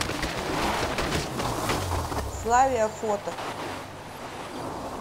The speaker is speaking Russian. славия фото